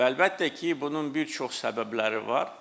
Və əlbəttə ki, bunun bir çox səbəbləri var.